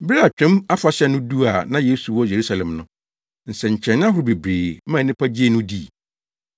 Bere a Twam Afahyɛ no duu a na Yesu wɔ Yerusalem no, nsɛnkyerɛnne ahorow bebree maa nnipa gyee no dii.